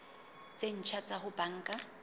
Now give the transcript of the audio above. tse ntjha tsa ho banka